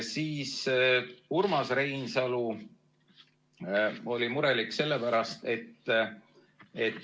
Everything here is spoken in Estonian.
Urmas Reinsalu oli murelik.